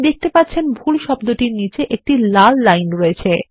আপনি দেখতে পাচ্ছেন ভুলশব্দেরনীচে একটি লাল লাইনরয়েছে